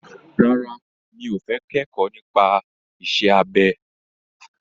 Rárá, mi ò fẹ́ kẹ́kọ̀ọ́ nípa iṣẹ́ abẹ.